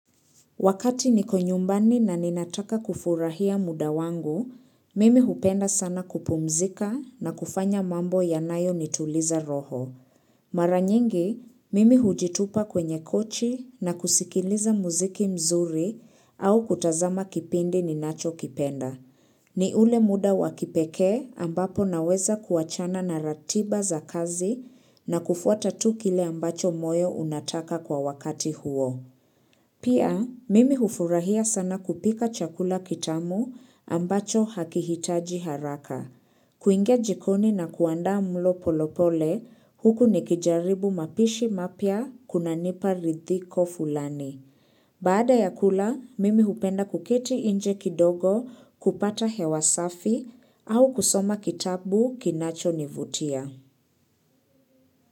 Wakati niko nyumbani na ninataka kufurahia muda wangu, mimi hupenda sana kupumzika na kufanya mambo yanayonituliza roho. Mara nyingi, mimi hujitupa kwenye kochi na kusikiliza muziki mzuri au kutazama kipindi ninachokipenda. Ni ule muda wa kipekee ambapo naweza kuachana na ratiba za kazi na kufuata tu kile ambacho moyo unataka kwa wakati huo. Pia, mimi hufurahia sana kupika chakula kitamu ambacho hakihitaji haraka. Kuingia jikoni na kuandaa mlo polepole, huku nikijaribu mapishi mapya kunanipa ridhiko fulani. Baada ya kula, mimi hupenda kuketi nje kidogo kupata hewa safi au kusoma kitabu kinachonivutia.